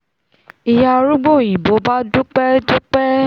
ìyá arúgbó òyìnbó bá dúpẹ́ dúpẹ́